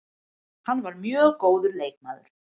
Hann var mjög góður leikmaður.